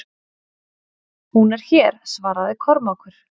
Hún er hér, svaraði Kormákur.